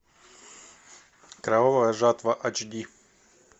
кровавая жатва эйч ди